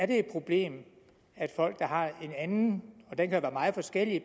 det et problem at folk der har en anden den kan være meget forskellig